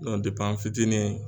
an fitinin